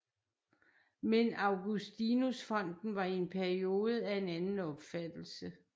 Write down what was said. Men Augustinus Fonden var i en periode af en anden opfattelse